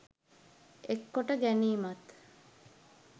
එක් කොට ගැනීමත්